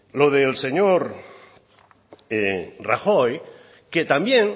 lo del señor rajoy que también